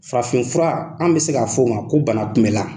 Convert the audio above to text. Farafin fura an bɛ se k'a fɔ o ma ko bana kunbɛ la.